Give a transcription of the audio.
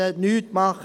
Nichts tun!